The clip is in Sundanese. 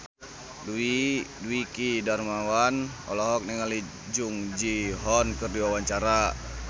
Dwiki Darmawan olohok ningali Jung Ji Hoon keur diwawancara